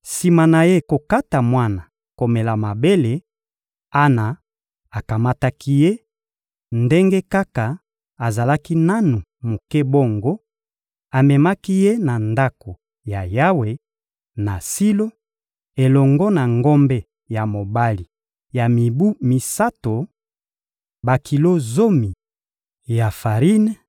Sima na ye kokata mwana komela mabele, Ana akamataki ye, ndenge kaka azalaki nanu moke bongo; amemaki ye na Ndako ya Yawe, na Silo, elongo na ngombe ya mobali ya mibu misato, bakilo zomi ya farine,